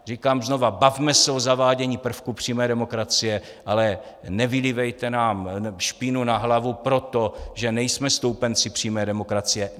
Říkám znova, bavme se o zavádění prvků přímé demokracie, ale nevylívejte nám špínu na hlavu proto, že nejsme stoupenci přímé demokracie.